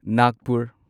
Nagpur